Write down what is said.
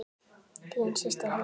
Þín systir, Helga.